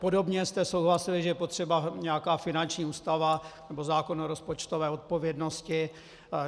Podobně jste souhlasili, že je potřeba nějaká finanční ústava nebo zákon o rozpočtové odpovědnosti.